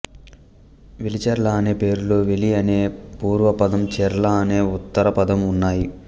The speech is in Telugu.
వెలిచెర్ల అనే పేరులో వెలి అనే పూర్వపదం చెర్ల అనే ఉత్తరపదం ఉన్నాయి